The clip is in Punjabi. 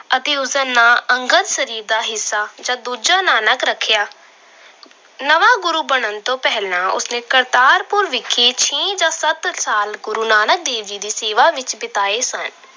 ਅਤੇ ਉਸਦਾ ਨਾਂ ਅੰਗਦ ਸਰੀਰ ਦਾ ਹਿੱਸਾ ਜਾਂ ਦੂਜਾ ਨਾਨਕ ਰੱਖਿਆ। ਨਵਾਂ ਗੁਰੂ ਬਣਨ ਤੋਂ ਪਹਿਲਾਂ ਉਸਨੇ ਕਰਤਾਰਪੁਰ ਵਿਖੇ ਛੇ ਜਾਂ ਸੱਤ ਸਾਲ ਗੁਰੂ ਨਾਨਕ ਦੇਵ ਜੀ ਦੀ ਸੇਵਾ ਵਿੱਚ ਬਿਤਾਏ ਸਨ।